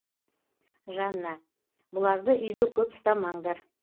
жанна бұларды үйде көп ұстамаңдар